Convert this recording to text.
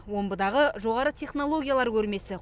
омбыдағы жоғары технологиялар көрмесі